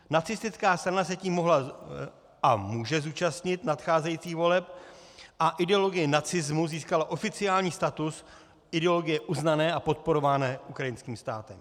Nacistická strana se tím mohla a může zúčastnit nadcházejících voleb a ideologie nacismu získala oficiální status ideologie uznané a podporované ukrajinským státem.